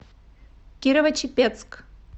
кирово чепецк